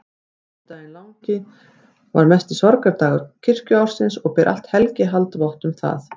Föstudagurinn langi er mesti sorgardagur kirkjuársins og ber allt helgihald vott um það.